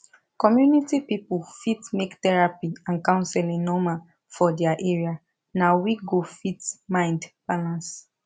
community people fit make therapy and counseling normal for their area na we go fit mind balance